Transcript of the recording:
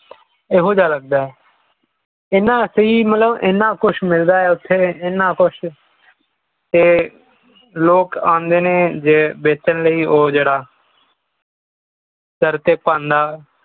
ਇਹੋ ਜਿਹਾ ਲਗਦਾ ਹੈ ਇਹਨਾ ਸਹੀ ਮਤਲਬ ਇਨ੍ਹਾਂ ਕੁਛ ਮਿਲਦਾ ਹੈ ਉੱਥੇ ਇਨ੍ਹਾਂ ਕੁਝ ਤੇ ਲੋਕ ਆਉਂਦੇ ਨੇ ਵੇਚਣ ਲਈ ਉਹ ਜਿਹੜਾ ਸਿਰ ਤੇ ਪੰਡ